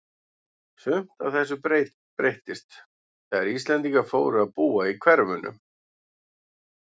Sumt af þessu breyttist þegar Íslendingar fóru að búa í hverfunum.